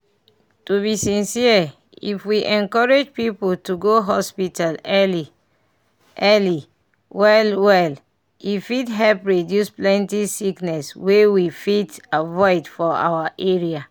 to be sincere if we encourage people to go hospital early early well well e fit help reduce plenty sickness wey we fit avoid for our area.